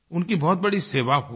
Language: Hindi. उनकी बहुत बड़ी सेवा होगी